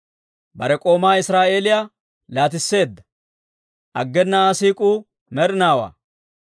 Bare k'oomaa Israa'eeliyaa laatisseedda; aggena Aa siik'uu med'inaawaa.